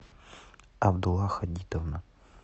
абдулла хадитовна